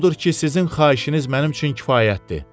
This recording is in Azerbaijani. Odur ki, sizin xahişiniz mənim üçün kifayətdir.